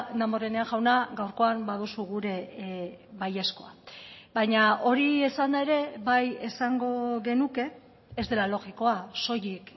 damborenea jauna gaurkoan baduzu gure baiezkoa baina hori esanda ere bai esango genuke ez dela logikoa soilik